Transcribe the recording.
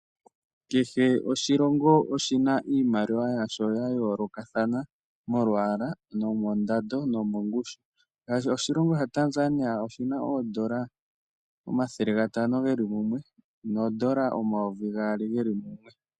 Kehe oshilongo oshina iimaliwa yasho yayo lokathana molwaala ,nomondado , nomongushu .ngashi oshilongo sha Tanzania oshina oodola omathele gatano geli mumwe, noodola omayovi gaali geli mumwe.